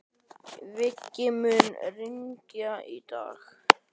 Viggi, mun rigna í dag?